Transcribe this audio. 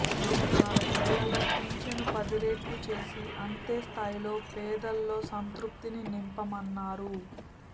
నాలుగున్నరేళ్లలో పింఛను పదిరెట్లు చేసి అంతే స్థాయిలో పేదల్లో సంతృప్తిని నింపామన్నారు